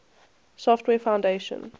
software foundation